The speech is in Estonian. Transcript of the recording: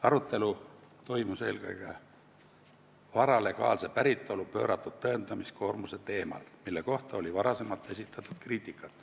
Arutelu toimus eelkõige vara legaalse päritolu pööratud tõendamiskoormuse teemal, mille kohta oli varem kriitikat esitatud.